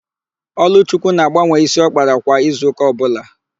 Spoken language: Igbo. Ọlụchukwu na-agbanwe ísí ọ kpara kwa izuụ́kà ọbụla.